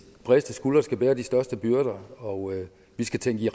bredeste skuldre skal bære de største byrder og vi skal tænke i